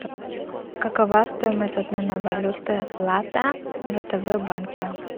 какова стоимость обмена валюты лата в втб банке